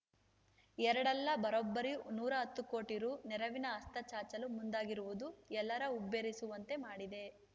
ಎರಡಲ್ಲ ಬರೋಬ್ಬರಿ ನೂರ ಹತ್ತು ಕೋಟಿ ರೂ ನೆರವಿನ ಹಸ್ತ ಚಾಚಲು ಮುಂದಾಗಿರುವುದು ಎಲ್ಲರ ಹುಬ್ಬೇರಿಸುವಂತೆ ಮಾಡಿದೆ